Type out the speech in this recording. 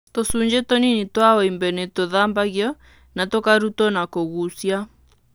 Tũcunjĩ tũnini twa wimbe nĩ tũthambagio na tũkarutwo na kũgucia.